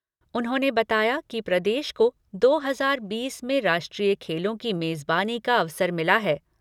उन्होंने बताया कि प्रदेश को दो हजार बीस में राष्ट्रीय खेलों की मेजबानी का अवसर मिला है।